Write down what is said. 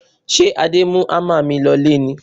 Ṣé Adé mú hámà mi lọlé ni?